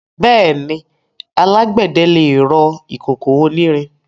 Bẹ́ẹ̀ni, alágbẹ̀dẹ lè rọ ìkòkò onírin.